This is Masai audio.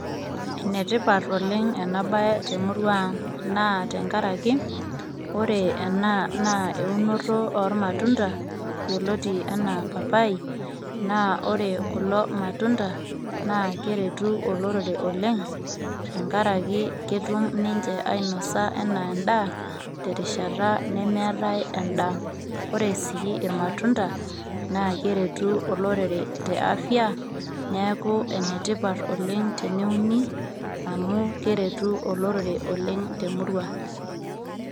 Enetipat oleng' enabaye temurua ang' naa tenkaraki ore ena naa enoto oormatunda yioloti enaa papai naa ore kulo matunda naa keretu olorere oleng' tenkaraki ketum ninche ainosa enaa endaa terishata nemeetai endaa, ore sii ilmatunda naa keretu olorere te afya neeku enetipat oleng' teneuni amu keretu olorere oleng' temurua.